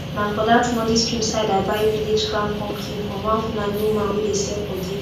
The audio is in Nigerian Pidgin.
na for dat muddy stream side i buy village crown pumpkin from one fulani woman wey dey sell for there